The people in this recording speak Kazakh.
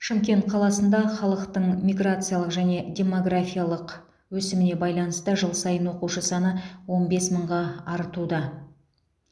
шымкент қаласында халықтың миграциялық және демографиялық өсіміне байланысты жыл сайын оқушы саны он бес мыңға артуда